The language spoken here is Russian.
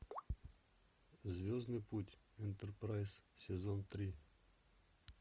звездный путь энтерпрайз сезон три